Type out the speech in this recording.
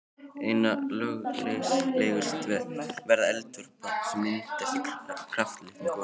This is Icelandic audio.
Einna lögulegust verða eldvörp sem myndast í kraftlitlum gosum.